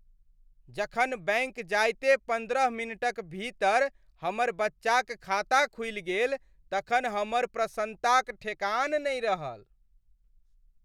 जखन बैंक जाइते पन्द्रह मिनटक भीतर हमर बच्चाक खाता खुलि गेल तखन हमर प्रसन्नताक ठेकान नहि रहल।